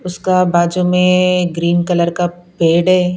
उसका बाजू में ग्रीन कलर का पेड़ है।